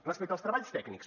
respecte als treballs tècnics